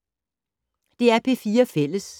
DR P4 Fælles